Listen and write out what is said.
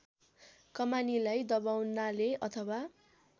कमानीलाई दबाउनाले अथवा